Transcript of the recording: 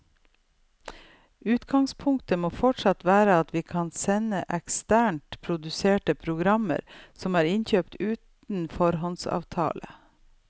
Utgangspunktet må fortsatt være at vi kan sende eksternt produserte programmer som er innkjøpt uten foråndsavtale.